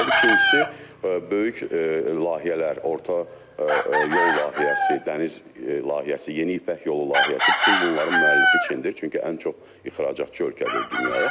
İkincisi, böyük layihələr, orta yol layihəsi, dəniz layihəsi, yeni İpək Yolu layihəsi, bütün bunların müəllifi Çindir, çünki ən çox ixracatçı ölkədir dünyaya.